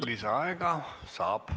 Lisaaega saab.